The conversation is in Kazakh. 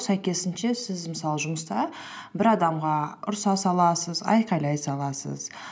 сәйкесінше сіз мысалы жұмыста бір адамға ұрыса саласыз айқайлай саласыз